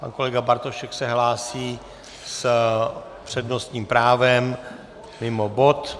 Pan kolega Bartošek se hlásí s přednostním právem mimo bod.